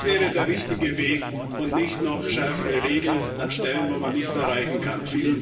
Das wäre der richtige Weg, und nicht noch schärfere Regeln an Stellen, wo man nichts erreichen kann.